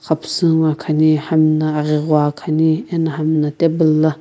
xapusu ngoakhani hami na aghi gho khani ena hami na table la.